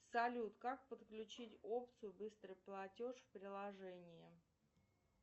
салют как подключить опцию быстрый платеж в приложении